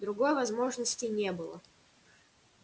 другой возможности не было